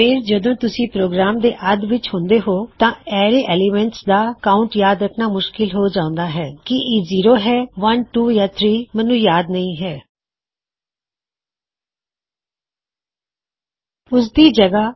ਫੇਰ ਜਦੋ ਤੁਸੀ ਪ੍ਰੋਗਰਾਮ ਦੇ ਅੱਧ ਵਿੱਚ ਹੁੰਦੇ ਹੋਂ ਅਤੇ ਤੁਸੀਂ ਕਹਿੁੰਦੇ ਹੋਂ ਕੀ ਮੈਂ ਟਾਪ ਤੇ ਜਾਣਾ ਚਾਹੁੰਦਾ ਹਾਂ ਅਤੇ ਹਰ ਰੋ ਨੂੰ ਕਾਉਨਟ ਕਰਨਾ ਚਾਹੁੰਦਾ ਹਾਂ ਅਤੇ ਅਸੀ ਕਹਿੁੰਦੇ ਹਾਂ ਕੀ ਇਹ ਜ਼ੀਰੋਇੱਕ ਦੋ ਯਾ ਤਿਨ ਹੈ ਕਿਉਂ ਕਿ ਮੈਂ ਯਾਦ ਨਹੀ ਰਖ ਪਾ ਰਿਹਾ